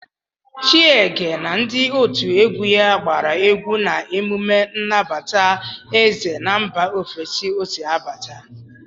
Chiege na ndị otu egwu ya gbara egwu na emume nnabata eze na mba ofesi ọ si bata.